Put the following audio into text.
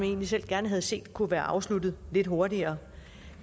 egentlig selv gerne havde set kunne være afsluttet lidt hurtigere